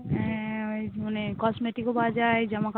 হ্যাঁ ওই মানে cosmetic ও পাওয়া যায় জামাকাপড়ও